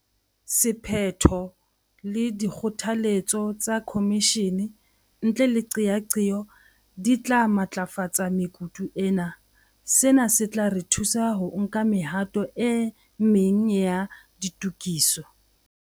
Sephetho le dikgotha letso tsa khomishene ntle le qeaqeo di tla matlafatsa mekutu ena. Sena se tla re thusa ho nka mehato e meng ya ditokiso.